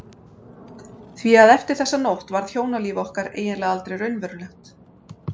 Því að eftir þessa nótt varð hjónalíf okkar eiginlega aldrei raunverulegt.